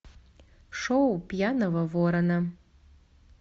шоу пьяного ворона